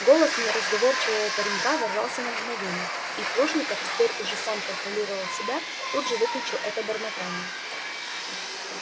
голос не разговорчивого паренька ворвался на мгновение и плужников теперь он уже контролировал себя тут же выключил это бормотание